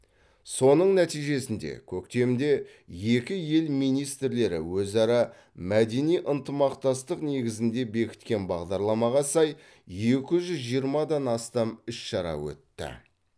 соның нәтижесінде көктемде екі ел министрлері өзара мәдени ынтымақтастық негізінде бекіткен бағдарламаға сай екі жүз жиырмадан астам іс шара өтті